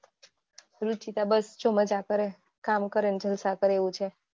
રૂચિતા બસ જો મજા કરે કામ કરે જલસા કરે એવું છે.